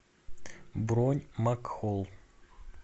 бронь макхолл